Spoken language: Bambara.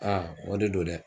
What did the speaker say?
Aa o de don dɛ.